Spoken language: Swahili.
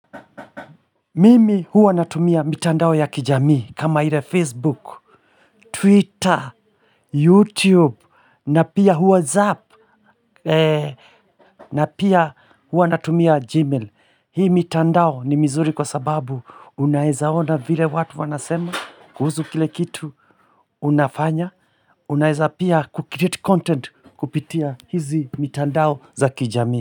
Mimi huwa natumia mitandao ya kijamii kama ile Facebook, Twitter, YouTube na pia WhatsApp na pia huwa natumia Gmail. Hii mitandao ni mizuri kwa sababu unaezaona vile watu wanasema kuhusu kile kitu unafanya. Unaeza pia kucreate content kupitia hizi mitandao za kijamii.